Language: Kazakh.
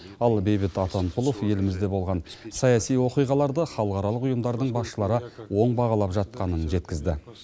ал бейбіт атамқұлов елімізде болған саяси оқиғаларды халықаралық ұйымдардың басшылары оң бағалап жатқанын жеткізді